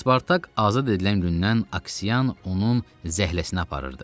Spartak azad edilən gündən Aksian onun zəhləsini aparırdı.